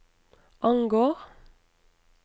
angår